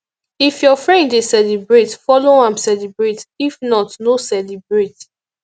if your friend dey celebrate follow am celebrate if not no celebrate